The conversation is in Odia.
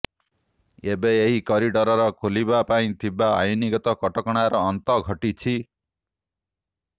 ଏବେ ଏହି କରିଡର ଖୋଲିବା ପାଇଁ ଥିବା ଆଇନଗତ କଟକଣାର ଅନ୍ତ ଘଟିଛି